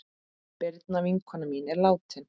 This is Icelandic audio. Birna vinkona mín er látin.